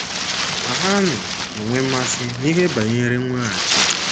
Ma ha nọ- enwe mmasị n’ihe banyere mweghachi.